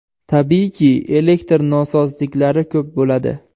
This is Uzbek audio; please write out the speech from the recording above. Tabiiyki, elektr nosozliklari ko‘p bo‘ladi.